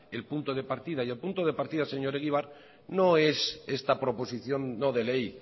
el punto de partida el punto de partida señor egibar no es esta proposición no de ley